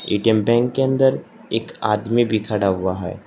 ATM bank के अंदर एक आदमी भी खड़ा हुआ है।